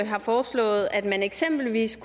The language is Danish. har foreslået at man eksempelvis